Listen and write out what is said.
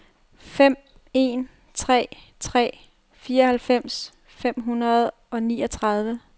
fem en tre tre fireoghalvfems fem hundrede og niogtredive